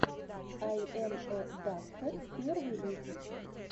ай эм э дакхэд первый выпуск